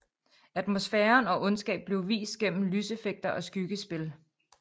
Atmosfæren og ondskab blev vist igennem lyseffekter og skyggespil